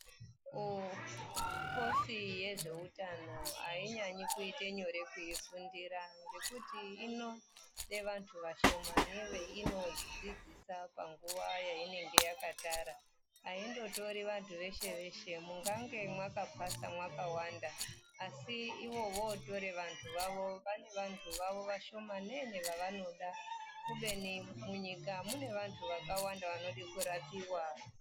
Kukosi yezveutano hainyanyi kuite nyore kuifundira ngekuti inode vantu vashomane veinodzidzisa panguva yainenge yakatara. Haindotori vantu veshe-veshe. Mungange mwakapasa mwakawanda, asi ivo votore vantu vavo, vane vantu vavo vashomanene vavanoda, kubeni munyika mune vantu vakawanda vanode kurapiwa.